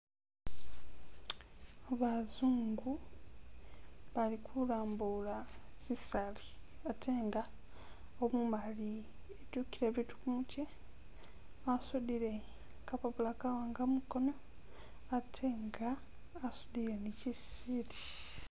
Bazungu bali kulambula sisaali ate nga umumali etyukile biitu kumutye, wasudile kapapula kawanga mukoono ate nga asudile ne shi siili.